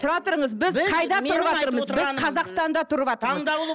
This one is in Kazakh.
тұра тұрыңыз біз қайда тұрыватырмыз біз қазақстанда тұрыватырмыз таңдаулы